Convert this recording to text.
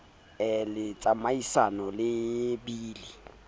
be le tsamaisano le bili